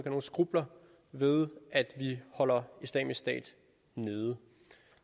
nogen skrupler ved at vi holder islamisk stat nede